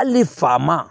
Hali ni fa ma